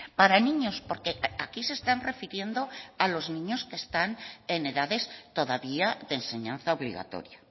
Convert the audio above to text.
para niños porque aquí se están refiriendo a los niños que están en edades todavía de enseñanza obligatoria